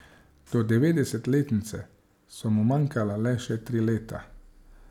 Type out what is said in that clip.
Do devetdesetletnice so mu manjkala le še tri leta.